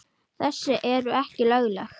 Þessi eru ekki lögleg.